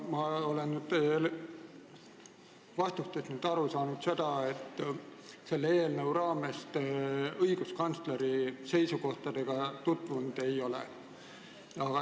Ma olen teie vastustest aru saanud, et selle eelnõu raames te õiguskantsleri seisukohaga tutvunud ei ole.